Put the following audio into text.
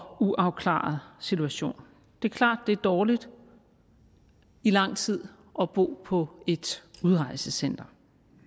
uafklaret situation det er klart at det er dårligt i lang tid at bo på et udrejsecenter